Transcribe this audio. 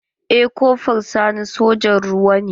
Eh kofra sani sojan ruwa ne.